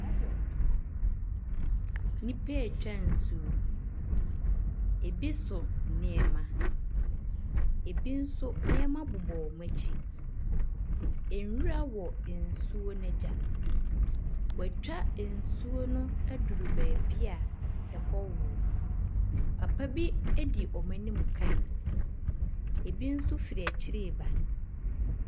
Nipa etwa nsuo, ebi so nneɛma, ebi nso nneɛma bobɔ ɔmmu akyi, Nwura wɔ nsuo n'egya. Wa twa nsuo no aduru beebia ɛ hɔ wo. Papa bi edi wɔn a nom kaen, ebi nso firi ɛkyire ba.